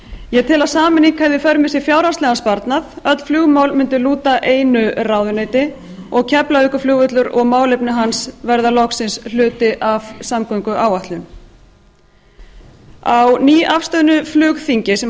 ég tel að sameining hefði í för með sér fjárhagslegan sparnað öll flugmál mundu lúta einu ráðuneyti og keflavíkurflugvöllur og málefni hans verða loksins hluti af samgönguáætlun á nýafstöðnu flugþingi sem